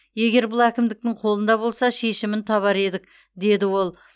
егер бұл әкімдіктің қолында болса шешімін табар едік деді ол